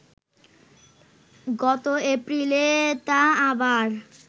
গত এপ্রিলে তা আবার